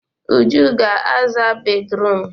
Uju ga-aza bédrụum.